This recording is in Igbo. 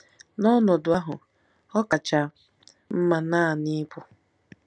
N'ọnọdụ ahụ, ọ kacha mma naanị ịpụ.